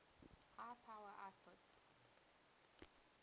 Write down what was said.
high power outputs